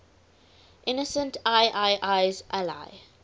innocent iii's ally